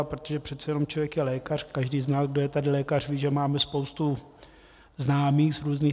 A protože přece jenom člověk je lékař, každý z nás, kdo je tady lékař, ví, že máme spoustu známých z různých...